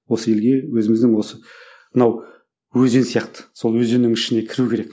осы елге өзіміздің осы мынау өзен сияқты сол өзеннің ішіне кіру керек